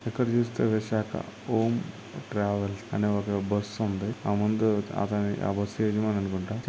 ఇక్కడ చూస్తే విశాఖ ఓం ట్రావెలర్స్ అనె ఒక బస్సు ఉంది అముందు --